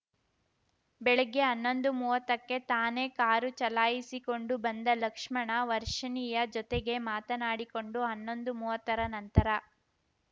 ಬೆಳಿಗ್ಗೆ ಹನ್ನೊಂದುಮೂವತ್ತಕ್ಕೆ ತಾನೇ ಕಾರು ಚಲಾಯಿಸಿಕೊಂಡು ಬಂದ ಲಕ್ಷ್ಮಣ ವರ್ಷಿಣಿಯ ಜೊತೆಗೆ ಮಾತನಾಡಿಕೊಂಡು ಹನ್ನೊಂದುಮೂವತ್ತರ ನಂತರ